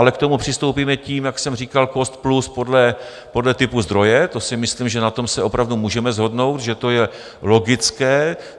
Ale k tomu přistoupíme tím, jak jsem říkal, cost plus podle typu zdroje, to si myslím, že na tom se opravdu můžeme shodnout, že to je logické.